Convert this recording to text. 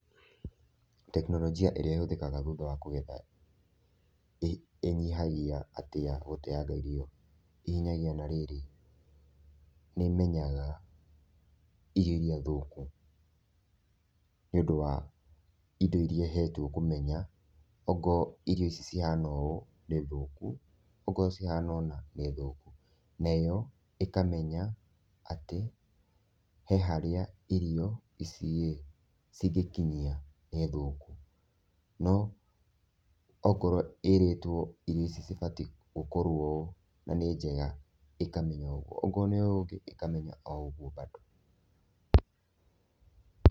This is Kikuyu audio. Teknolojia ĩrĩa ĩhũthĩkaga thutha wa kũgetha ĩhinyagia atĩa gũteanga irio, ĩ hinyagia na rĩrĩ, nĩ ĩmenyaga irio iria thũkũ nĩ ũndũ wa indo iria ĩhetwo kũmenya. Ongoo irio ici cihana ũũ nĩ thũkũ ongoo cihana ũũ nĩ thũkũ. Nayo ĩkamenya atĩ he harĩa irio ici ĩ cingĩkinyia nĩ thũkũ. No ongorũo ĩrĩtwo irio ici cibatiĩ gũkorũo ũũ na nĩ njega ĩkamenya ũguo, ongorũo nĩ ũũ ũngĩ ĩkamenya o ũguo bado.